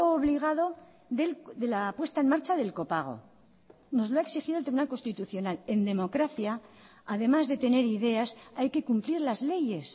obligado de la puesta en marcha del copago nos lo ha exigido el tribunal constitucional en democracia además de tener ideas hay que cumplir las leyes